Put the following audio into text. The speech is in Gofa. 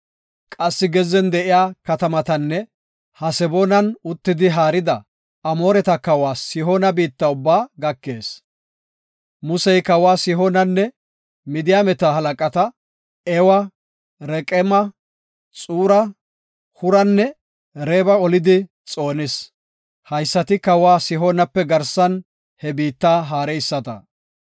Qassi gezzen de7iya katamatanne Haseboonan uttidi haarida Amooreta kawa Sihoona biitta ubbaa gakees. Musey kawa Sihoonanne Midiyaameta halaqata Ewa, Reqeema, Xuura, Huranne Reeba olidi xoonis. Haysati kawa Sihoonape garsan he biitta haareyisata.